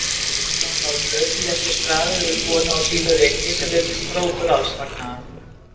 Mamma hans á laufléttu skrafi við konu á sínu reki sem virtist hrókur alls fagnaðar.